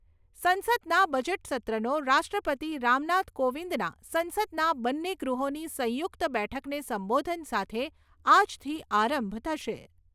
સંસદના બજેટસત્રનો રાષ્ટ્રપતિ રામનાથ કોવિંદના સંસદના બંન્ને ગૃહોની સંયુક્ત બેઠકને સંબોધન સાથે આજથી આરંભ થશે.